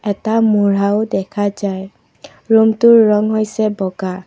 এটা মুঢ়াও দেখা যায় ৰুমটোৰ ৰং হৈছে বগা।